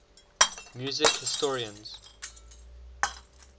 music historians